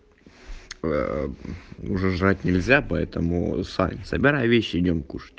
уже жрать нельзя поэтому сань собирай вещи и идём кушать